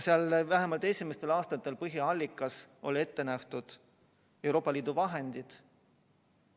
Seal vähemalt esimestel aastatel olid põhiallikaks ette nähtud Euroopa Liidu vahendid.